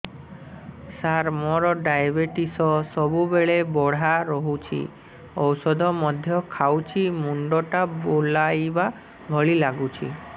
ସାର ମୋର ଡାଏବେଟିସ ସବୁବେଳ ବଢ଼ା ରହୁଛି ଔଷଧ ମଧ୍ୟ ଖାଉଛି ମୁଣ୍ଡ ଟା ବୁଲାଇବା ଭଳି ଲାଗୁଛି